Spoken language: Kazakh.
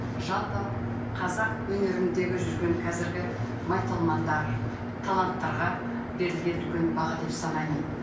жалпы қазақ өнеріндегі жүрген қазіргі майталмандар таланттарға берілген үлкен баға деп санаймын